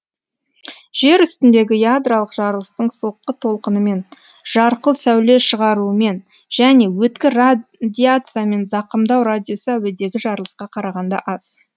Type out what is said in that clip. жер үстіндегі ядролық жарылыстың соққы толқынымен жарқыл сәуле шығаруымен және өткір радиациямен зақымдау радиусы әуедегі жарылысқа қарағанда аз